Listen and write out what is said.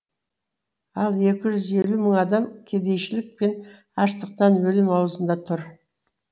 ал екі жүз елу мың адам кедейшілік пен аштықтан өлім аузында тұр